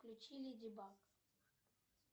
включи леди баг